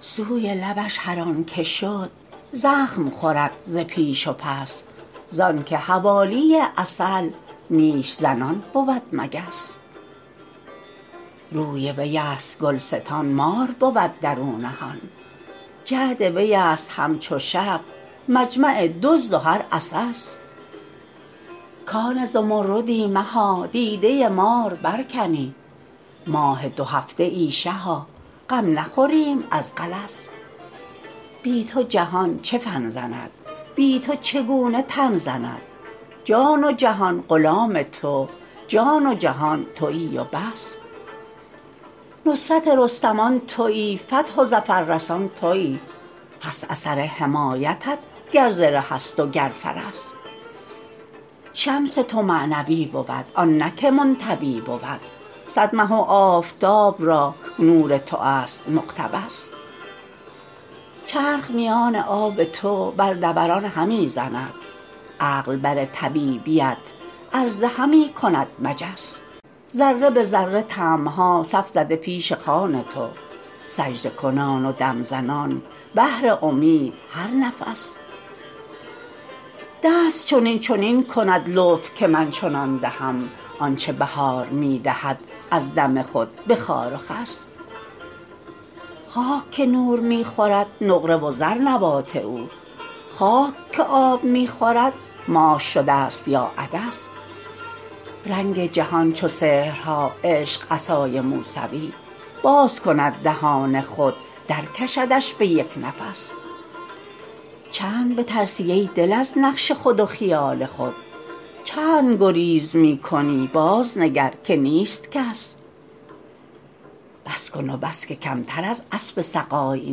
سوی لبش هر آنک شد زخم خورد ز پیش و پس زانک حوالی عسل نیش زنان بود مگس روی ویست گلستان مار بود در او نهان جعد ویست همچو شب مجمع دزد و هر عسس کان زمردی مها دیده مار برکنی ماه دوهفته ای شها غم نخوریم از غلس بی تو جهان چه فن زند بی تو چگونه تن زند جان و جهان غلام تو جان و جهان توی و بس نصرت رستمان توی فتح و ظفررسان توی هست اثر حمایتت گر زره ست وگر فرس شمس تو معنوی بود آن نه که منطوی بود صد مه و آفتاب را نور توست مقتبس چرخ میان آب تو بر دوران همی زند عقل بر طبیبیت عرضه همی کند مجس ذره به ذره طمع ها صف زده پیش خوان تو سجده کنان و دم زنان بهر امید هر نفس دست چنین چنین کند لطف که من چنان دهم آنچ بهار می دهد از دم خود به خار و خس خاک که نور می خورد نقره و زر نبات او خاک که آب می خورد ماش شدست یا عدس رنگ جهان چو سحرها عشق عصای موسوی باز کند دهان خود درکشدش به یک نفس چند بترسی ای دل از نقش خود و خیال خود چند گریز می کنی بازنگر که نیست کس بس کن و بس که کمتر از اسب سقای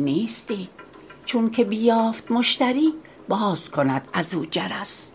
نیستی چونک بیافت مشتری باز کند از او جرس